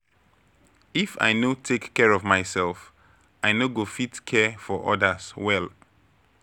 If I no take care of myself, I no go fit care for others well.